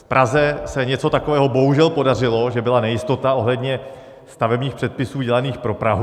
V Praze se něco takového bohužel podařilo, že byla nejistota ohledně stavebních předpisů dělaných pro Prahu.